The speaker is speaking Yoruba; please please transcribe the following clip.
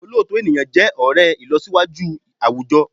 Òlóòtọ́ ènìyàn jẹ́ ọ̀rẹ́ ìlọsíwájú àwùjọ